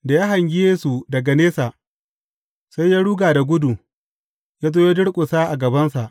Da ya hangi Yesu daga nesa, sai ya ruga da gudu, ya zo ya durƙusa a gabansa.